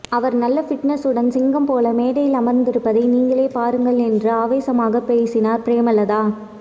அவர் நல்ல ஃபிட்நெஸ்சுடன் சிங்கம் போல மேடையில் அமர்ந்திருப்பதை நீங்களே பாருங்கள் என்று ஆவேசமாக பேசினார் பிரேமலதா